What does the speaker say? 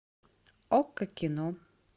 окко кино